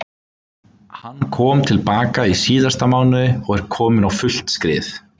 Hann kom til baka í síðasta mánuði og er kominn á fullt skrið.